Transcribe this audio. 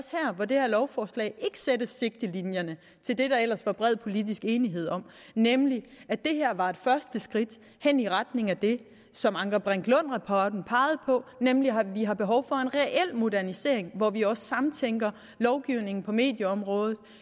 hvor det her lovforslag ikke sætter sigtelinjerne til det der ellers var bred politisk enighed om nemlig at det her var et første skridt hen i retning af det som anker brink lund rapporten pegede på nemlig at vi har behov for en reel modernisering hvor vi også samtænker lovgivning på medieområdet